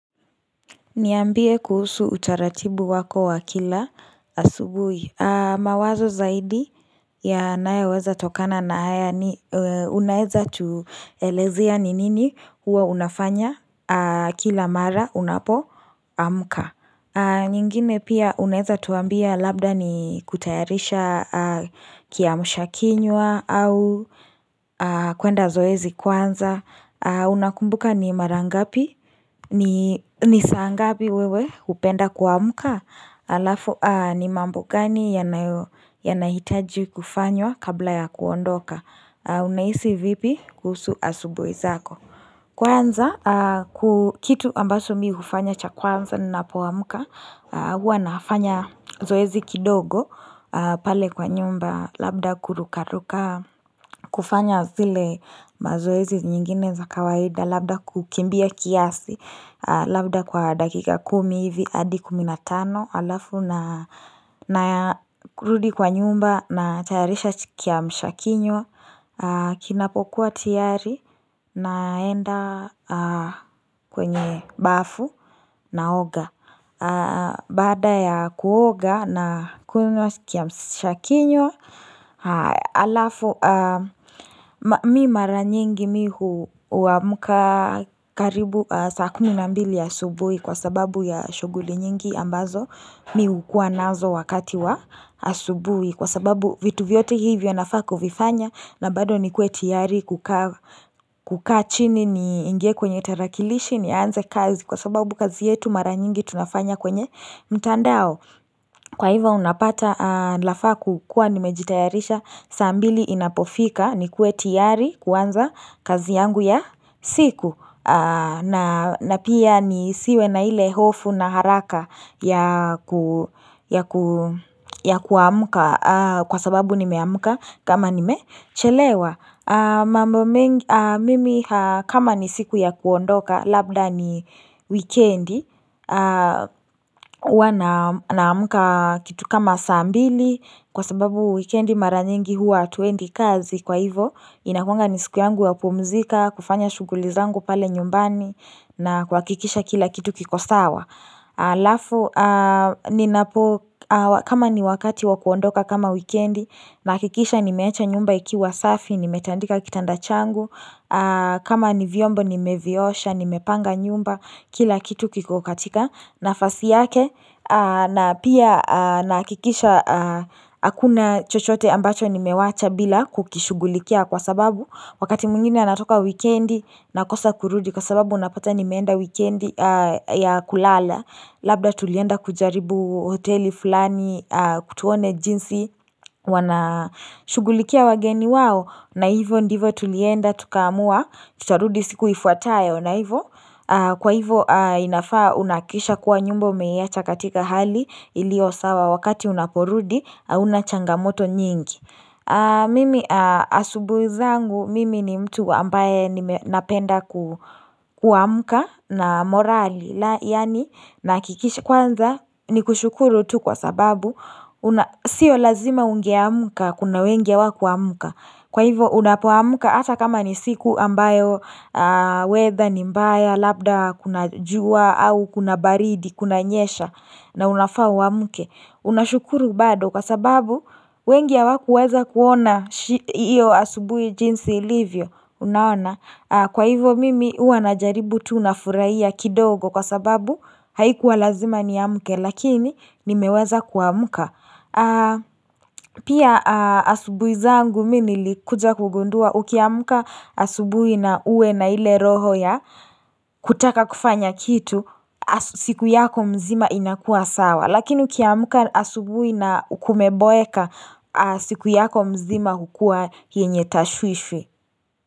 Niambie kuhusu utaratibu wako wa kila asubuhi mawazo zaidi yanayoweza tokana na haya unaweza tuelezea ni nini huwa unafanya kila mara unapo amka nyingine pia unaweza tuambia labda ni kutayarisha kiamsha kinywa au kuenda zoezi kwanza Unakumbuka ni marangapi ni saa ngapi wewe hupenda kuamka halafu ni mambo gani yanahitaji kufanywa kabla ya kuondoka Unahisi vipi kusu asubuhi zako Kwanza kitu ambachi mimi hufanya cha kwanza ninapoamka huwa nafanya zoezi kidogo pale kwa nyumba Labda kurukaruka kufanya zile mazoezi nyingine za kawaida Labda kukimbia kiasi Labda kwa dakika kumi hivi hadi kumi na tano halafu na kurudi kwa nyumba na tayarisha kiamshakinywa Kinapokuwa tiyari naenda kwenye bafu naoga Baada ya kuoga na kunywa kiamshakinywa halafu mimi mara nyingi mimi huamka karibu saa kumi na mbili ya subuhi kwa sababu ya shughuli nyingi ambazo mimi hukuwa nazo wakati wa subuhi kwa sababu vitu vyote hivyo nafaa kuvifanya na bado ni kuwe tiyari kukaa chini niingie kwenye tarakilishi nianze kazi kwa sababu kazi yetu maranyingi tunafanya kwenye mtandao Kwa hivo unapata nafaa kuwa nimejitayarisha saa mbili inapofika nikuwe tiyari kuanza kazi yangu ya siku na pia nisiwe na ile hofu na haraka ya kuamka kwa sababu nimeamka kama nimechelewa. Mimi kama ni siku ya kuondoka labda ni wikendi huwa naamka kitu kama saa mbili kwa sababu wikendi mara nyingi huwa hatuendi kazi kwa hivo inakuwanga ni siku yangu kupumzika kufanya shuguli zangu pale nyumbani na kuhakikisha kila kitu kikosawa alafu kama ni wakati wakuondoka kama wikendi nahakikisha nimewacha nyumba ikiwa safi nimetandika kitanda changu kama ni vyombo nimeviosha ni mepanga nyumba kila kitu kiko katika nafasi yake na pia nahakikisha hakuna chochote ambacho nimewacha bila kukishugulikia kwa sababu wakati mwingine natoka wekendi nakosa kurudi kwa sababu unapata ni meenda wekendi ya kulala labda tulienda kujaribu hoteli fulani tuone jinsi wana shughulikia wageni wao na hivo ndivo tulienda, tukaamua, tutarudi siku ifuatayo na hivo Kwa hivo inafaa unahakikisha kuwa nyumba umeiacha katika hali iliyo sawa wakati unaporudi, haunachangamoto nyingi Mimi asubuhi zangu, mimi ni mtu ambaye napenda kuamuka na morali Yaani nahakikisha kwanza ni kushukuru tu kwa sababu, sio lazima ungeamuka, kuna wengi hawakuamuka Kwa hivyo unapoamka hata kama ni siku ambayo weather ni mbaya, labda kuna jua au kuna baridi, kunanyesha na unafaa uamke. Unashukuru bado kwa sababu wengi hawakuweza kuona hiyo asubuhii jinsi ilivyo. Unaona kwa hivyo mimi huanajaribu tu unafurahia kidogo kwa sababu haikuwa lazima ni amke lakini nimeweza kuamka. Pia asubuhi zangu mimi nilikuja kugundua ukiamka asubuhi na uwe na ile roho ya kutaka kufanya kitu siku yako mzima inakuwa sawa Lakini ukiamka asubhi na kumeboeka siku yako mzima hukua yenye tashwishwi.